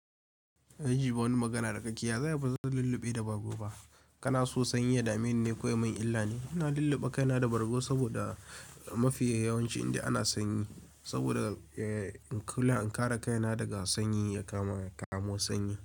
Kaji wani magana da kaje ya zai bazan lulluɓe da bargo ba. Kana so sanyi ya dame ni ne? Ko yamin illa ne. Ina lulluɓe kaina da bargo saboda mafi yawancin indai ana sanyi. Saboda in kula in kare kaina daga sanyi ya kama kamu sanyi.